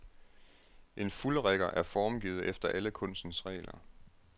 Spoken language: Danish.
En fuldrigger er formgivet efter alle kunstens regler.